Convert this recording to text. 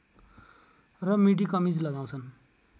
र मिडी कमिज लगाउँछन्